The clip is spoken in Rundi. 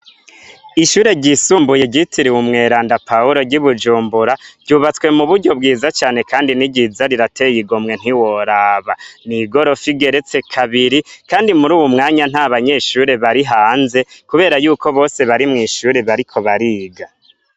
Ishure ryisumbuye ryitiriwe umweranda Pawulo ry'ibujumbura, ryubatswe mu buryo bwiza cane kandi ni ryiza rirateye igomwe ntiworaba. Ni igorofa igeretse kabiri kandi muri uwu mwanya nta banyeshure bari hanze kubera yuko bose bari mw'ishure, bariko bariga.